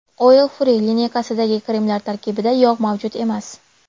Oil free lineykasidagi kremlar tarkibida yog‘ mavjud emas.